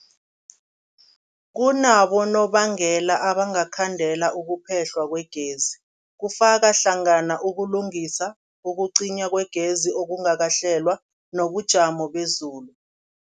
Kunabonobangela abangakhandela ukuphehlwa kwegezi, kufaka hlangana ukulungisa, ukucinywa kwegezi okungakahlelwa, nobujamo bezulu.